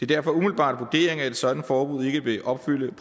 derfor umiddelbart vurderingen at et sådant forbud ikke vil opfylde